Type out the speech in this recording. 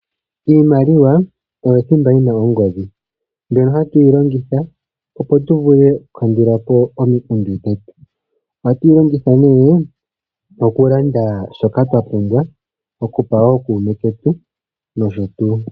Iimaliwa oyo thimba yina ongodhi. Mbino hatuyi longitha opo tu vule oku kandulapo omiikundu dhetu. Ohaa tuyi longitha nee oku landa shoka twa pumbwa. Oku pa ookume ketu noshotuu.